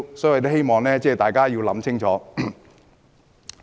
所以，我希望大家想清楚。